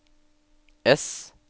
ess